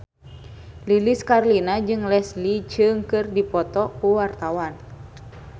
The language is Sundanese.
Lilis Karlina jeung Leslie Cheung keur dipoto ku wartawan